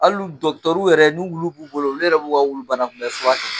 Hal'u dɔgɔtɔrɔw yɛrɛ n'u wulu b'u bolo olu yɛrɛ b'u ka wulu fana banakunbɛn fura kɛ.